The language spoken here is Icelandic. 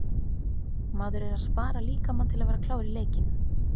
Maður er að spara líkamann til að vera klár í leikinn.